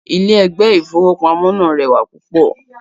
Ilé ẹ̀gbẹ́ ìfowópamó náà rẹwà púpọ̀